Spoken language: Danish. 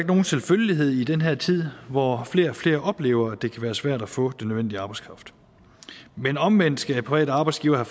nogen selvfølgelighed i den her tid hvor flere og flere oplever at det kan være svært at få den nødvendige arbejdskraft men omvendt skal private arbejdsgivere